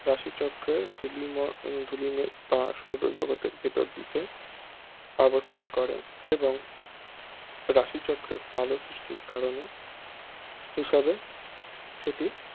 রাশিচক্রের ধূলি ধূলিমেঘ যা সৌরজগতের ভেতরের দিকে অবস্থান করে এবং রাশিচক্রের আলো সৃষ্টির কারণ হিসেবে সেটি